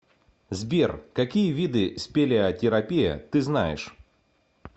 сбер какие виды спелеотерапия ты знаешь